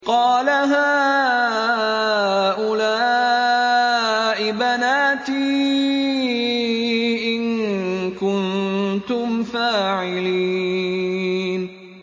قَالَ هَٰؤُلَاءِ بَنَاتِي إِن كُنتُمْ فَاعِلِينَ